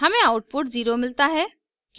हमें आउटपुट 0 मिलता है